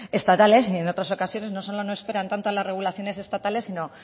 estatales y en otras ocasiones no solo no esperan tanto a las regulaciones estatales si no